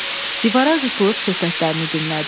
Divara qısılıb söhbətlərini dinlədi.